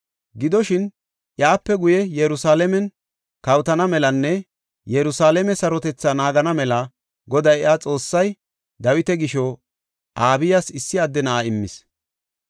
Gidoshin, iyape guye Yerusalaamen kawotana melanne Yerusalaame sarotethaa naagana mela Goday iya Xoossay, Dawita gisho Abiyas issi adde na7aa immis.